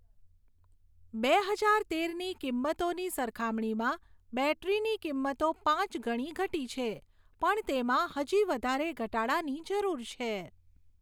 બે હજાર તેરની કિંમતોની સરખામણીમાં બૅટરીની કિંમતો પાંચ ગણી ઘટી છે પણ તેમાં હજી વધારે ઘટાડાની જરૂર છે.